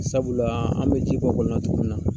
Sabula an bɛ ji bɔ kɔlɔnna togomin na